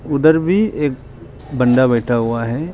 उधर भी एक बंदा बैठा हुआ है।